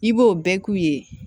I b'o bɛɛ k'u ye